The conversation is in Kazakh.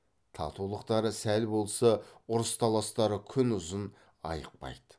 татулықтары сәл болса ұрыс таластары күн ұзын айықпайды